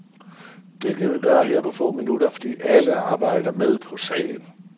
Det kan vi gøre her på få minutter, fordi alle arbejder med på sagen.